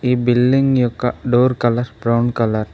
ఈ బిల్డింగ్ యొక్క door colour brown colour .